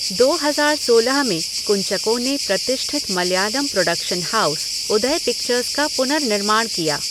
दो हज़ार सोलह में कुंचको ने प्रतिष्ठित Malayalam production house Udaya Pictures का पुनर्निर्माण किया।